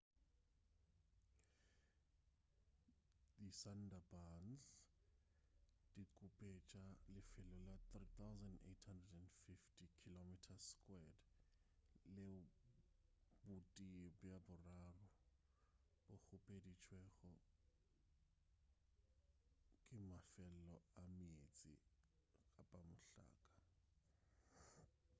disundarbans di khupetša lefelo la 3,850 km² leo botee bja boraro bo khupeditšwego ke mefelo a meetse/mohlaka